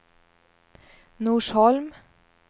Norsholm